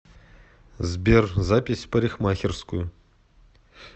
сбер запись в парикхмакерскую